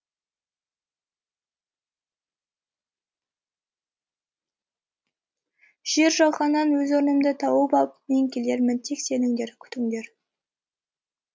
жер жаһаннан өз орнымды тауып ап мен келермін тек сеніңдер күтіңдер